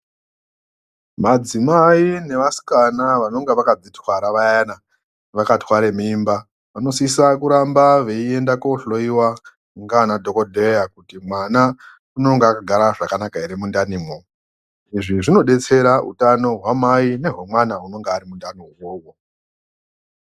Madzimai nevasikana vanonga vakadzitwara vayana, vakatware mimba, vanosisa kuramba veienda kohloiwa ngaanadhokodheya, kuti mwana unonga akagara zvakanaka ere mundanimwo. Izvi zvinodetsera utano hwamai nehwemwana anonga ari mundani umwomwo.